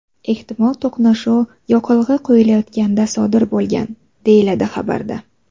Ehtimol to‘qnashuv yoqilg‘i quyilayotganda sodir bo‘lgan”, deyiladi xabarda.